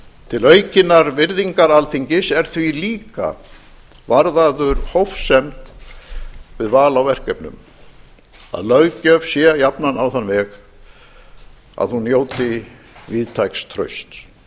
til aukinnar virðingar alþingis er því líka varðaður hófsemd við val á verkefnum að löggjöf sé jafnan á þann veg að hún njóti víðtæks trausts